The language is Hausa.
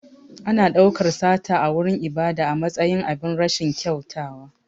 Ana ɗaukar sata a wurin ibada a matsayin abin rashin kyautawa.